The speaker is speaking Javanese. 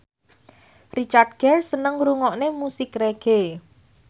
Richard Gere seneng ngrungokne musik reggae